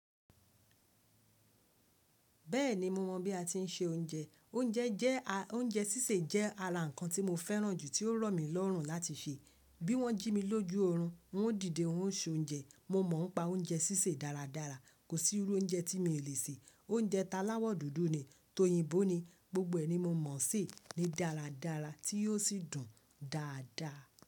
Bẹ́ẹ̀ni mo mọ̀ bí a ti ń se oúnjẹ. Oúnjẹ sísè jẹ́ ara ǹkan tí mo fẹ́ràn jù tí ó rọ̀ mí lọ́rùn láti se. Bí wọ́n jí mi lójú oorun, n wó dìde n ó ṣe oúnjẹ. Mo mọ̀ ń pa oúnjẹ sísè dáradára. Kò sí irú oúnjẹ tí mi ò lè sè. Oúnjẹ talawọ dúdú ni, tóyìnbó ni, gbogbo ẹ̀ ni mo mọ̀ ṣe ni dáradára tí yóò sì dùn dáadáa.